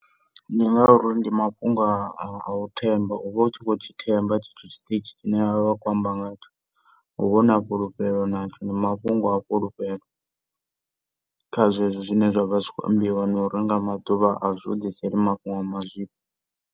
Ndi ngauri ndi mafhungo a a u themba uvha utshi vho tshi themba tshetsho tshiṱitshi tshine vha vha vha kho amba ngatsho uvha una fhulufhelo natsho ndi mafhungo a fhulufhelo kha zwezwo zwine zwa kho ambiwa .